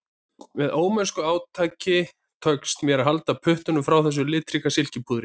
Með ómennsku átaki tekst mér að halda puttunum frá þessu litríka silkipúðri